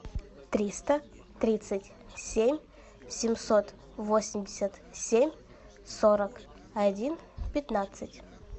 триста тридцать семь семьсот восемьдесят семь сорок один пятнадцать